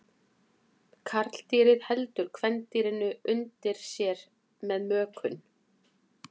Karldýrið heldur kvendýrinu undir sér við mökun.